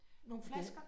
Nogle flasker?